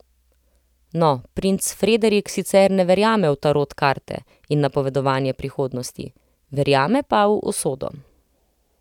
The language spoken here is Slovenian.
No, princ Frederik sicer ne verjame v tarot karte in napovedovanje prihodnosti, verjame pa v usodo.